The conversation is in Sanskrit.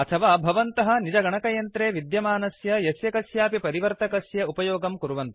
अथवा भवन्तः निज गणकयंत्रे विद्यमानस्य यस्य कस्यापि परिवर्तकस्य उपयोगम् कुर्वन्तु